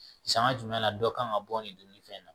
Sanga jumɛn na dɔ kan ka bɔ nin donni fɛn na